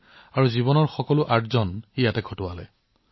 তেওঁ তেওঁৰ জীৱনজোৰা উপাৰ্জন ইয়াত বিনিয়োগ কৰিছিল